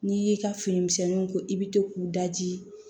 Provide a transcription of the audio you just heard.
N'i y'i ka finimisɛnninw ko i bɛ to k'u daji